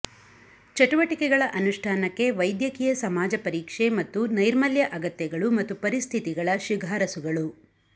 ಚಟುವಟಿಕೆಗಳ ಅನುಷ್ಠಾನಕ್ಕೆ ವೈದ್ಯಕೀಯ ಸಮಾಜ ಪರೀಕ್ಷೆ ಮತ್ತು ನೈರ್ಮಲ್ಯ ಅಗತ್ಯಗಳು ಮತ್ತು ಪರಿಸ್ಥಿತಿಗಳ ಶಿಫಾರಸುಗಳು